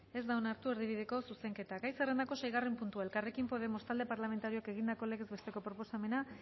ez da onartu erdibideko zuzenketa gai zerrendako seigarren puntua elkarrekin podemos talde parlamentarioak egindako legez besteko proposamena